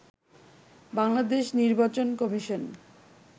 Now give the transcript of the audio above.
বাংলাদেশ নির্বাচন কমিশন